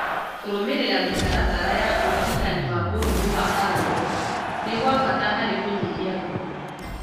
Kũrũmĩrĩra mĩtaratara ya ũrigitani wa mũrimũ wa marungo nĩ gwa bata harĩ kũnyihia ruo